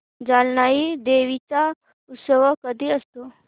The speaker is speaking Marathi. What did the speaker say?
जानाई देवी चा उत्सव कधी असतो